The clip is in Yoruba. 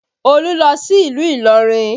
Olu lọ sí ìlú Ilorin